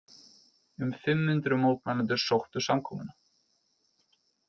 Um fimm hundruð mótmælendur sóttu samkomuna